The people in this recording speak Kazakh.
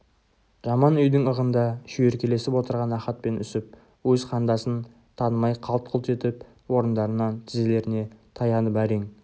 жаман үйдің ығында шүйіркелесіп отырған ахат пен үсіп өз қандасын танымай қалт-құлт етіп орындарынан тізелеріне таянып әрең